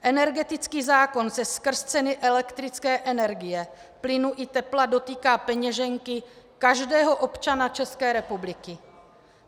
Energetický zákon se skrz ceny elektrické energie, plynu i tepla dotýká peněženky každého občana České republiky.